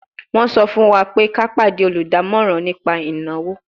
Wọ́n sọ fún wa pé ká pàdé olùdámọ̀ràn nípa ìnáwó